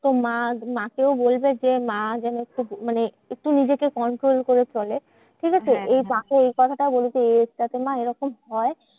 তো মা মা কেও বলবে যে, মা যেন খুব মানে একটু নিজেকে control করে চলে, ঠিকাছে? এ মেক এই কথাটাও বলবে এই age টা তে মা এরকম হয়।